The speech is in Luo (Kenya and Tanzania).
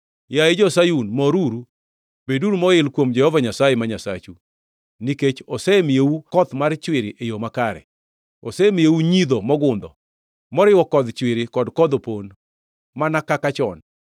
Yaye jo-Sayun moruru, beduru moil kuom Jehova Nyasaye, ma Nyasachu, nikech osemiyou koth mar chwiri e yo makare, asemiyou ngʼidho mogundho, moriwo kodh chwiri kod kodh opon, mana kaka chon.